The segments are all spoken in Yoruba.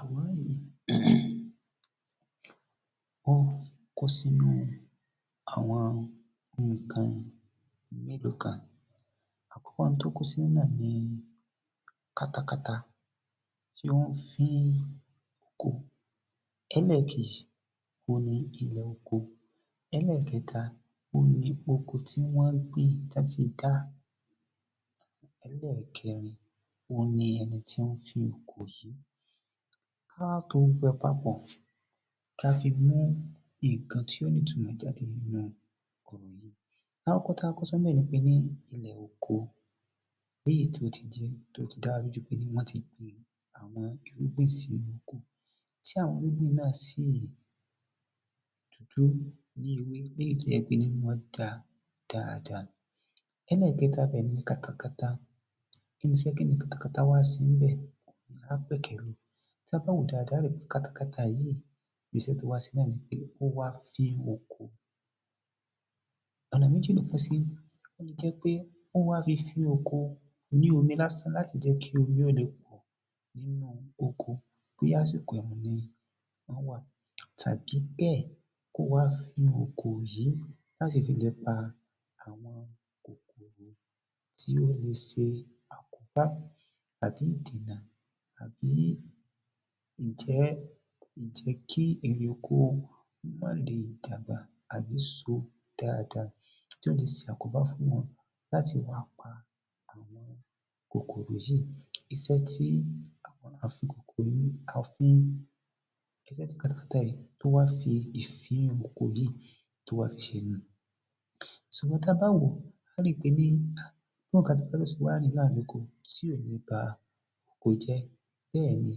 Àwòràn yìí um ó kó sínú àwọn ohun kan mélòó kan. Àkòkó n tó kó sínú náà ni katakata tí wọ́n ń fín oko. Ẹlẹ́ẹ̀kejì òhun ni ilẹ̀ oko. Ẹlẹ́ẹ̀kẹta òhun ni oko tí wọ́n gbìn tán ti dá. Ẹlẹ́ẹ̀kẹrin òhun ni ẹni tí ó ń fín oko yìí. Ká wá to gbogbo ẹ̀ papò ká fi mú nǹkan tí ó ní ìtumọ̀ jáde nínú ọ̀rọ̀ yìí. Lákọ́kọ́ tá kọ́kọ́ sọ ńbẹ̀ ni pé ní ilẹ̀ oko léyìí tó ti jẹ́ wípé ó ti dá wa lójú pé wọ́n ti gbin àwọn irúgbìn sí oko tí àwọn irúgbìn náà sì dúdú ní ewé léyìí tó jé pé ní wọ́n dá dáadá. Ẹlẹ́ẹ̀kẹta bẹ̀ ni kata kata. Kíni se kata kata kíni kata kata wá se ńbẹ̀ á pẹ̀kẹ́ lu tí a bá wòó dáada á rí pé katakata yìí isẹ́ tó wá se náà ni pé ó wá fín oko. Ọ̀nà méjì ló pín sí, ó le jẹ́ pé wọ́n wá fi fín oko ní omi lásán láti lè jẹ́ kí omi ó le pọ̀ nínú oko bóyá àsìkò ẹ̀rùn ni wọ́n wà tàbí bẹ́ẹ̀ kó wá fín oko yìí láti fi le pa àwọn kòkòrò tí ó le se àkóbá tàbí ìdènà tàbí ǹjẹ́ ǹjẹ́ kí erè oko kó má le dàgbà àbí so dáada tó le se àkóbá fún wọn láti wá pa àwọn kòkòrò yìí. Isẹ́ tí àwọn àfin kòkòrò yìí a fi ń, isẹ́ tí kata kata yìí tó wá fi fín oko yìí tó wá fi ṣe nu. Sùgbọ́n tá bá wòó á rí pé ní bó wá ni kata kata ó se wá rìn láàrin oko tí ò ní ba oko jẹ́ bẹ́ẹ̀ ni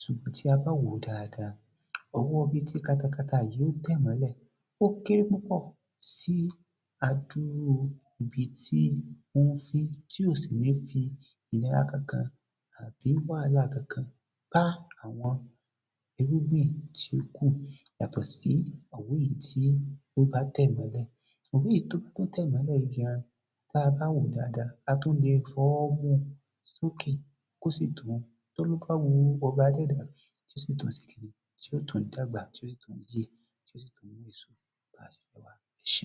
sùgbọ́n tí a bá wòó dáada, òwọ́ ibi tí kata kata yìí ó tẹ̀ mọ́lẹ̀ ó kéré púpọ̀ sí adúrú ibi tí ó ń fín tí ò sì ní fi ìnira kankan àbí wàhálà kankan bá àwọn irúgbìn tí ó kù yàtọ̀ sí ọ̀wọ́ èyí tí ó bá tẹ̀ mọ́lẹ̀. Ọ̀wọ́ èyí tí ó bá tún tẹ̀ mọ́lẹ̀ yìí gan tá bá wòó dáada, a tún le fọwọ́ mú sókè kó sì tún tí ó tún dàgbà tí ó sì tún yè Ẹṣé.